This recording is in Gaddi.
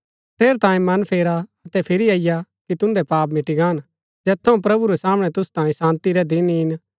ठेरैतांये मन फेरा अतै फिरी अईआ कि तुन्दै पाप मिटी गान जैत थऊँ प्रभु रै सामणै तुसु तांयें शान्ती रै दिन ईन